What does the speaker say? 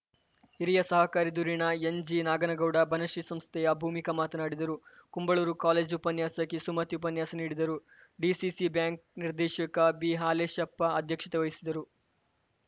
ಹಿರಿಯ ಸಹಕಾರಿ ಧುರೀಣ ಎನ್‌ಜಿನಾಗನಗೌಡ ಬನಶ್ರೀ ಸಂಸ್ಥೆಯ ಭೂಮಿಕಾ ಮಾತನಾಡಿದರು ಕುಂಬಳೂರು ಕಾಲೇಜು ಉಪನ್ಯಾಸಕಿ ಸುಮತಿ ಉಪನ್ಯಾಸ ನೀಡಿದರು ಡಿಸಿಸಿ ಬ್ಯಾಂಕ್‌ ನಿರ್ದೇಶಕ ಬಿಹಾಲೇಶಪ್ಪ ಅಧ್ಯಕ್ಷತೆ ವಹಿಸಿದರು